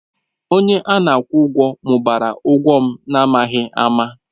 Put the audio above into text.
Onye a na-akwụ ụgwọ mụbara ụgwọ m n'amaghị ama.